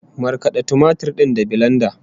Markada tumatir din da bilenda